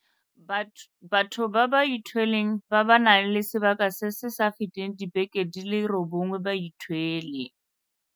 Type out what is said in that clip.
Bathong ba ba ithweleng ba ba nang le sebaka se se sa feteng dibeke di le robongwe ba ithwele.